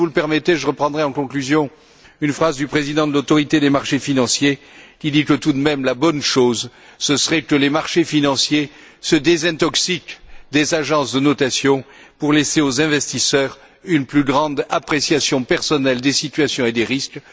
Mais si vous le permettez, je reprendrai en conclusion une phrase du président de l'Autorité des marchés financiers qui dit que, tout de même, la bonne chose, ce serait que les marchés financiers se désintoxiquent des agences de notation pour laisser aux investisseurs une plus grande appréciation personnelle des situations et des risques.